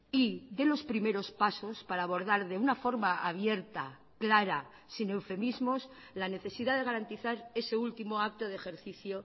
y dé los primeros pasos para abordar de una forma abierta clara sin eufemismos la necesidad de garantizar ese último acto de ejercicio